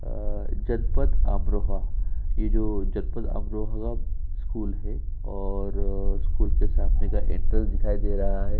आ जनपद अमरोहा ये जो जनपद अमरोहा का स्कूल है और स्कूल के सामने का एंट्रेंस दिखाई दे रहा है।